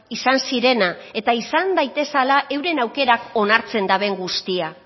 izan zirena eta izan daitezela euren aukerak onartzen daben guztia